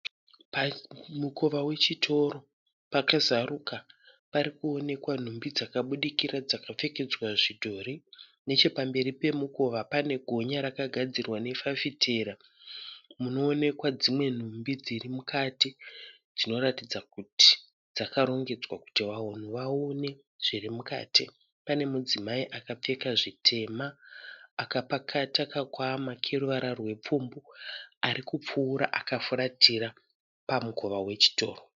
Pamukova wechitoro pakazaruka parikonekwa nhumbi dzakabudikira dzakapfekedzwa zvidhori. Nechepamberi pemukova panegonya rakagadzirwa nefafitera munoonekwa dzimwe nhumbi dzirimukati dzinoratidza kuti dzakarongedzwa kuti vanhu vaone zvirimukati. Pane mudzimai akapfeka zvitema akapakata kakwama keruvara rwepfumbwa arikupfuura akafuratira, pamukova wechitoro